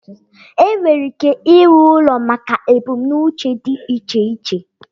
enwere ike ịrụ ụlọ maka ebumnuche dị iche iche